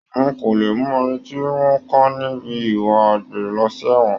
Wọn kò le mú ẹni tí wọ́n ká ní ibi ìwà àgbèrè lọ sí ẹ̀wọ̀n